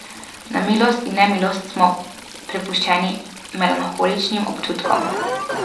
Na milost in nemilost smo prepuščeni melanholičnim občutkom.